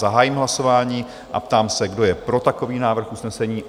Zahájím hlasování a ptám se, kdo je pro takový návrh usnesení?